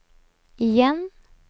igjen